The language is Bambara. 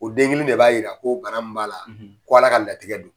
O den kelen de b'a yira ko kalan min b'a la k'Ala ka latigɛ don.